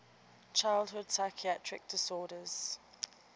childhood psychiatric disorders